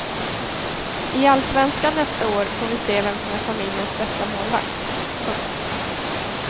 I allsvenskan nästa år får vi se vem som är familjens bästa målvakt. punkt